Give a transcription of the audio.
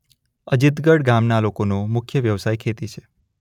અજિતગઢ ગામના લોકોનો મુખ્ય વ્યવસાય ખેતી છે.